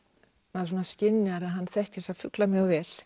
maður svona skynjar að hann þekkir þessa fugla mjög vel